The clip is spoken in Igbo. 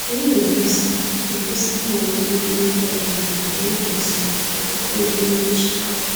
Anyị na-edosa na-edosa mma owuwe ihe ubi anyị n'ala n'oge ezumike - ọ bụghị n'oche.